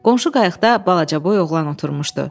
Qonşu qayıqda balacaboy oğlan oturmuşdu.